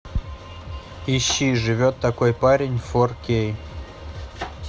ищи живет такой парень фор кей